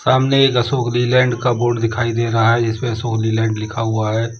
सामने एक अशोक लीलैंड का बोर्ड दिखाई दे रहा है जिसपे अशोक लीलैंड लिखा हुआ है।